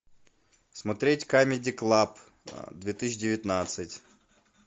смотреть камеди клаб две тысячи девятнадцать